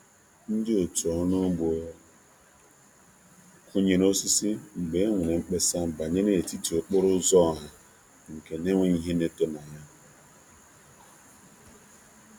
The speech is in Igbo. Ndi otu ọrụ ugbo kunyere osisi mgbe e nwere mkpesa banyere etiti okporo ụzọ ọha nke n'enweghị ihe na-eto na ya.